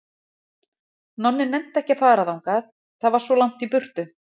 Nonni nennti ekki að fara þangað, það var svo langt í burtu.